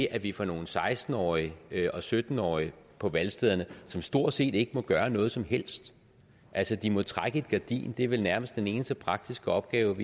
at vi får nogle seksten årige og sytten årige på valgstederne som stort set ikke må gøre noget som helst altså de må trække et gardin det er vel nærmest den eneste praktiske opgave